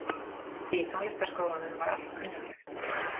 Í Tónlistarskólanum var allt kunnuglegt.